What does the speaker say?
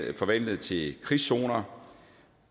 jo forvandlet til krigszoner